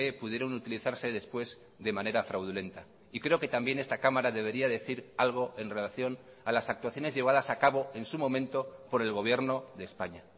pudieron utilizarse después de manera fraudulenta y creo que también esta cámara debería decir algo en relación a las actuaciones llevadas a cabo en su momento por el gobierno de españa